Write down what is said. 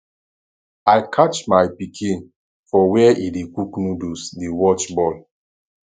i catch my pikin for where he dey cook noodles dey watch ball